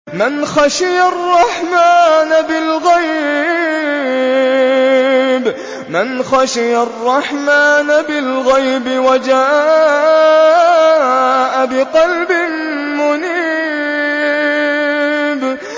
مَّنْ خَشِيَ الرَّحْمَٰنَ بِالْغَيْبِ وَجَاءَ بِقَلْبٍ مُّنِيبٍ